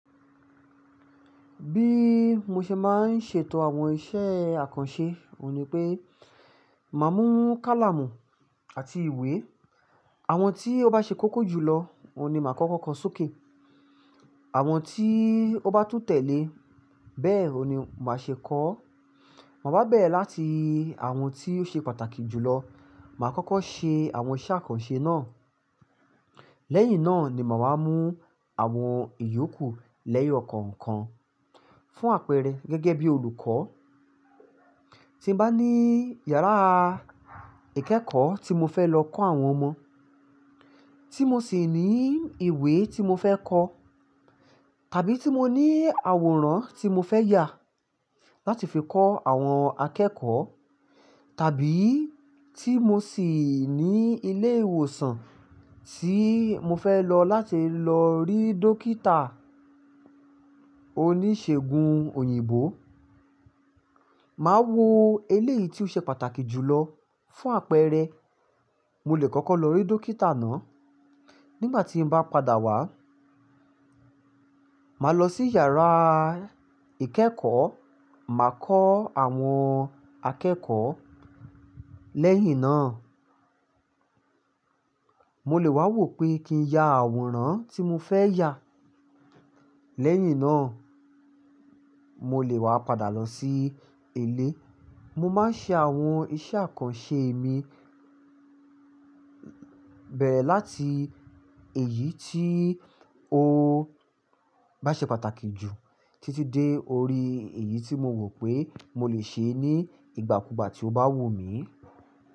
Bí mo ṣe máa ń ṣètò àwọn iṣẹ́ àkànṣe, òun ni pé màá mú kálámù àti ìwé. Àwọn tí ó bá ṣe kókó jùlọ, òun ni màá kọ́kọ́ ko sókè. Àwọn tí ó bá tún tẹ̀lé bẹ́ẹ̀, òun ni màá ṣe kọ́. Mo bá bẹ̀rẹ̀ láti àwọn tí ó ṣe pàtàkì jùlọ, màá kọ́kọ́ ṣe àwọn iṣẹ́ àkànṣe náà. Lẹ́yìn náà ni màá wá mú àwọn ìyókù lẹ́yọ̀ kọ̀ọ̀kan fún àpẹẹrẹ gẹ́gẹ́ bí olùkọ́. Tí mo bá ní yàrá ìkẹ́kọ̀ọ́ tí mo fẹ́ lọ kọ́ àwọn ọmọ, tí mo sì ní ìwé tí mo fẹ́ kọ, tàbí tí mo ní àwòrán tí mo fẹ́ yà láti fi kọ́ àwọn akẹ́kọ̀ọ́, tàbí tí mo sì ní ilé ìwòsàn tí mo fẹ́ lọ láti lọ rí dókítà oníṣègùn òyìnbó, màá wo eléyìí tí ó ṣe pàtàkì jùlọ fún àpẹẹrẹ. Mo lè kọ́kọ́ lọ rí dókítà náà. Nígbà tí mo bá padà wá, màá lọ sí yàrá ìkẹ́kọ̀ọ́, màá kọ́ àwọn akẹ́kọ̀ọ́. Lẹ́yìn náà, mo lè wá wò pé kí n ya àwòrán tí mo fẹ́ yà. Lẹ́yìn náà, mo lè wá padà lọ sí ilé. Mo máa ń ṣe àwọn iṣẹ́ àkànṣe mi bẹ̀rẹ̀ láti èyí tí ó bá ṣe pàtàkì jù títí dé orí èyí tí mo wò pé mo lè ṣe é ní ìgbàkúùgbà tí ó bá wù mí.